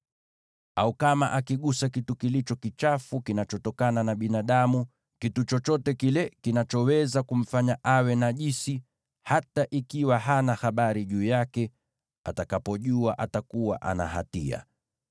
“ ‘Au kama akigusa kitu kilicho kichafu kinachotokana na binadamu, kitu chochote kile kinachoweza kumfanya awe najisi, hata akiwa hana habari, atakapofahamu atakuwa na hatia.